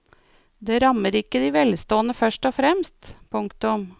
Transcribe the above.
Det rammer ikke de velstående først og fremst. punktum